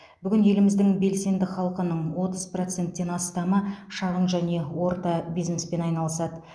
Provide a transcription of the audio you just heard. бүгін еліміздің белсенді халқының отыз проценттен астамы шағын және орта бизнеспен айналысады